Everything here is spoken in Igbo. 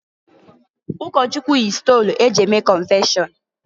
Ụkọchụkwụ yi stolu e ji eme kọnfeshọn.